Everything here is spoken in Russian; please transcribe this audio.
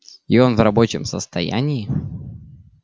и он в рабочем состоянии